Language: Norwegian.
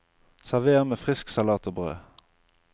Server med frisk salat og brød.